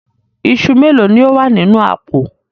Iṣu méèló ni ó wà nínú àpò?